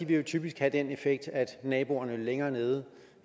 vil typisk have den effekt at naboerne længere nede